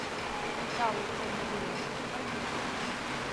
металлкомплект поехали